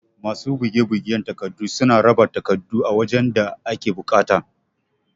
Masu buge bugen takardu suna raba takardun a wajan da ake buƙata